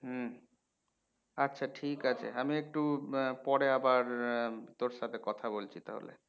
হম আচ্ছা ঠিক আছে আমি একটু আহ পরে আবার তোর সাথে কথা বলছি তাহলে